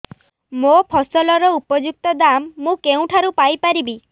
ମୋ ଫସଲର ଉପଯୁକ୍ତ ଦାମ୍ ମୁଁ କେଉଁଠାରୁ ପାଇ ପାରିବି